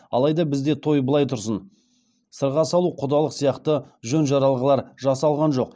алаи да бізде тои былаи тұрсын сырға салу құдалық сияқты жөн жоралғылар жасалған жоқ